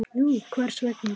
Nú, hvers vegna?